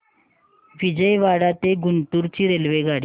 विजयवाडा ते गुंटूर ची रेल्वेगाडी